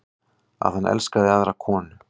Að hann elski aðra konu.